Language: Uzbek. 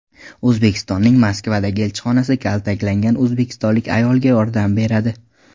O‘zbekistonning Moskvadagi elchixonasi kaltaklangan o‘zbekistonlik ayolga yordam beradi .